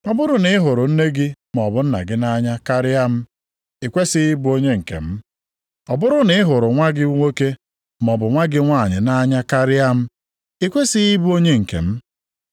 “Ọ bụrụ na ị hụrụ nne gị maọbụ nna gị nʼanya karịa m, i kwesighị ịbụ onye nke m. Ọ bụrụ na ị hụrụ nwa gị nwoke, maọbụ nwa gị nwanyị nʼanya karịa m, i kwesighị ịbụ onye nke m.